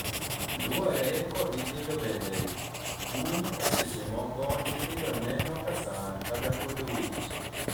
luworega kod nyithindo bende, kum e seche moko nyithindo neno ka sand kata kuodo wich